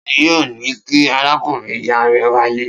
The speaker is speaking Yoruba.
Ta ni yóò ní kí arákùnrin-ìyá rẹ wálé?